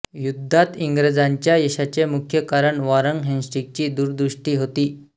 युद्धात इंग्रजांच्या यशाचे मुख्य कारण वॉरेन हेस्टिंग्जची दूरदृष्टी होती